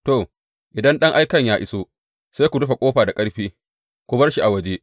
To, idan ɗan aikan ya iso, sai ku rufe ƙofar da ƙarfi, ku bar shi a waje.